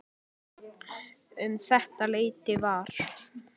Um þetta leyti var